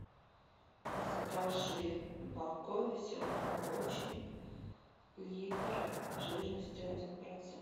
закажи молоко веселый молочник литр жирностью один процент